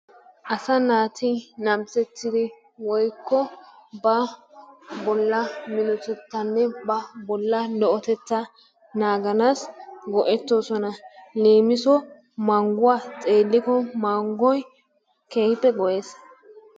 Asaa naatti namisettidi woyko ba bolla minnottetanne ba bolla lo'otettaa naganassi go'etosonna, lemisiwassi manguwaa xeliko mangoy kehippe go'ees,